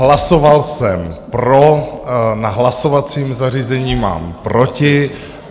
Hlasoval jsem pro, na hlasovacím zařízení mám proti.